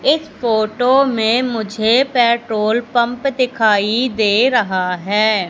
इस फोटो में मुझे पेट्रोल पंप दिखाई दे रहा है।